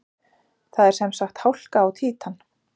Það er sem sagt hálka á Títan!